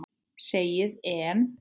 Segið EN.